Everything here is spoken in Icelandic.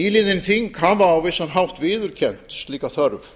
nýliðin þing hafa á vissan hátt viðurkennt slíka þörf